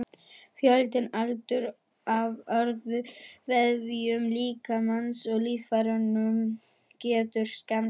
Fjöldinn allur af öðrum vefjum líkamans og líffærum getur skemmst.